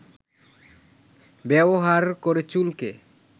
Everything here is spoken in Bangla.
ব্যবহার করে চুলকে